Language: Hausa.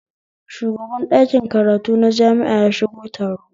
Shugaban ɗakin karatu na jami'a ya shigo taro